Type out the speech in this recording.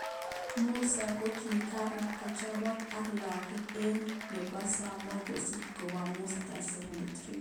Musa kokiran kochopok ak lagok aeng ,ak nebo somok kesich koba Musa 73.